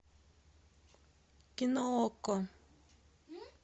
кино окко